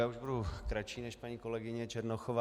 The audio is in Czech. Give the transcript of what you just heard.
Já už budu kratší, než paní kolegyně Černochová.